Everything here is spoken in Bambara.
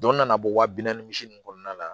Dɔ nana bɔ wa bi naani misi nunnu kɔnɔna na